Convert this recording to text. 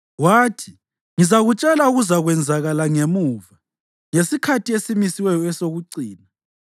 Wathi, “Ngizakutshela okuzakwenzakala ngemuva, ngesikhathi esimisiweyo esokucina.